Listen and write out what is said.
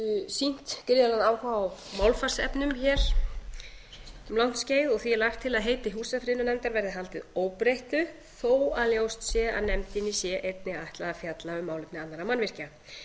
sýnt gríðarlegan áhuga á málfarsefnum hér um langt skeið og því er lagt til að heiti húsafriðunarnefndar verði haldið óbreyttu þó að ljóst sé að nefndinni sé einnig ætlað að fjalla um málefni annarra mannvirkja